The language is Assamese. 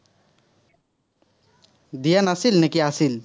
দিয়া নাছিল, নে কি আছিল।